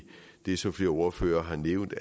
det som flere ordførere har nævnt